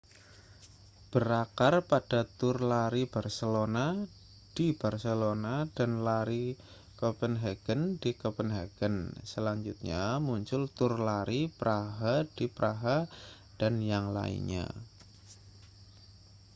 berakar pada tur lari barcelona di barcelona dan lari kopenhagen di kopenhagen selanjutnya muncul tur lari praha di praha dan yang lainnya